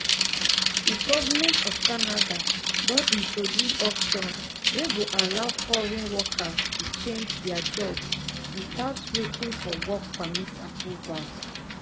di govment of canada don introduce option wey go allow foreign workers to change dia job without waiting for work permit approvals.